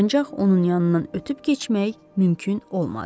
Ancaq onun yanından ötüb keçmək mümkün olmadı.